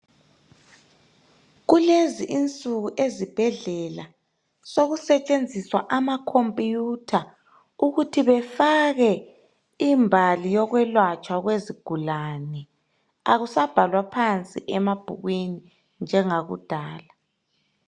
Kulezi insuku ezibhedlela sokusetshenziswa amakhompuyutha ukuthi befake imbali yokwelatshwa kwezigulane. Akusabhalwa phansi emabhukwini njengakudala.